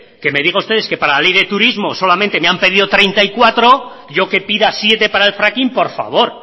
que me digan ustedes que para la ley del turismo solamente me han pedido treinta y cuatro yo que pida siete para el fracking por favor